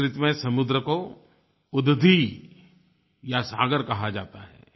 संस्कृत में समुद्र को उदधि या सागर कहा जाता है